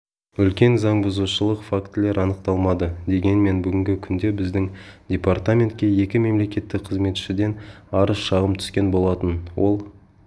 үлкен заңбұзушылық фактілер анықталмады дегенмен бүгінгі күнде біздің департаментке екі мемлекеттік қызметшіден арыз-шағым түскен болатын ол